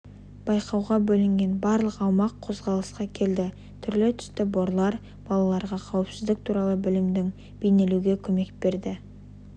байқауға бөлінген барлық аумақ қозғалысқа келді түрлі түсті борлар балаларға қауіпсіздік туралы білімдерін бейнелеуге көмек берді